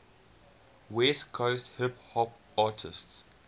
west coast hip hop artists